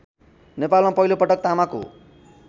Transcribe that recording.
नेपालमा पहिलोपटक तामाको